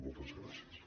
moltes gràcies